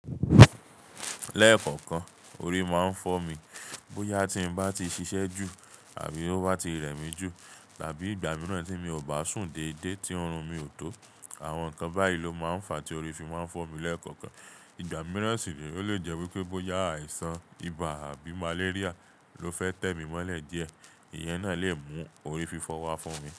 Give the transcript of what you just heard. Lẹ́ẹ̀kọ̀kan, orí máa ń fọ́ mi. Bóyá tí n bá ti ṣiṣẹ́ ju àbí ó bá ti rẹ mí ju, tàbí ìgbà mìíràn tí mi ò bá sùn déédéé tí oorun mi ò tó. Àwọn nǹkan báyìí ló máa ń fa tí orí fi máa ń fọ́ mi lẹ́ẹ̀kọ̀kan. Ìgbà mìíràn sì ní ó lè jẹ́ wípé bóyá àìsàn ibà àbí màléríà ló fẹ́ tẹ mí mọ́lẹ̀ díẹ̀, ìyẹn náà lè mú orí fi fọ́ wa fún mi.